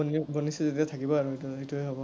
বনিছে যেতিয়া থাকিবই আৰু সেইটো, সেইটোৱেই হব।